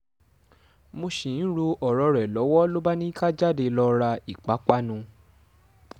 mo ṣì ń ro ọ̀rọ̀ rẹ̀ lọ́wọ́ ló bá ní ká jáde lọ́ọ ra ìpápánu